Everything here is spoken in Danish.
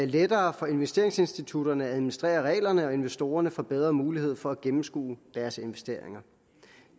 lettere for investeringsinstitutterne at administrere reglerne og investorerne får bedre mulighed for at gennemskue deres investeringer